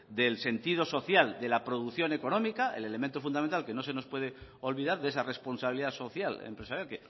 del sentido social de la producción económica el elemento fundamental que no se nos puede olvidar de esa responsabilidad social empresarial